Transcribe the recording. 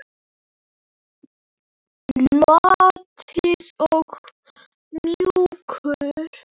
Loðinn og mjúkur.